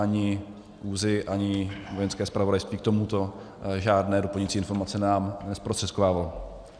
Ani ÚZSI, ani Vojenské zpravodajství k tomuto žádné doplňující informace nám nezprostředkovávaly.